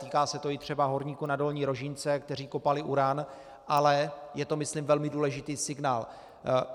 Týká se to i třeba horníků na Dolní Rožínce, kteří kopali uran, ale je to myslím velmi důležitý signál.